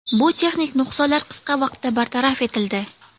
Bu texnik nuqsonlar qisqa vaqtda bartaraf etildi.